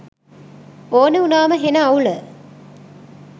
ඕන උනාම හෙන අවුල